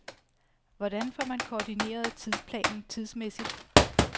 Hvordan får man koordineret tidsplanen tidsmæssigt?